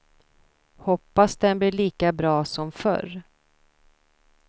Hoppas den blir lika bra som förr.